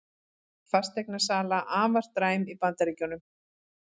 Fasteignasala afar dræm í Bandaríkjunum